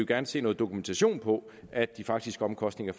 gerne se noget dokumentation på at de faktiske omkostninger